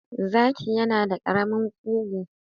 Zaki yana da ƙarami ƙugu